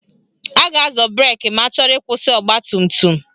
A ga-azọ breki ma achọrọ ịkwụsị ọgbatumtum